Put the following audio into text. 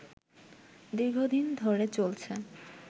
দীর্ঘদিন ধরে চলছে